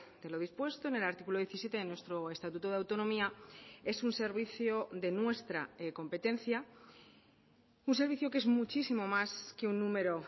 de lo dispuesto en el artículo diecisiete de nuestro estatuto de autonomía es un servicio de nuestra competencia un servicio que es muchísimo más que un número